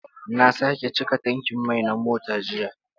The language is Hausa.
Na sake cika tankin mai na mota jiya.